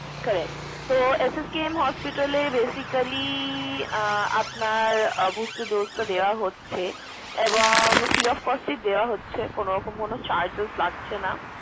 Correct! তো SSKM hospital এ basically আহ আপনার আহ booster dose টা দেওয়া হচ্ছে এবং free of cost এই দেওয়া হচ্ছে কোনো রকম কোনো charges লাগছেনা।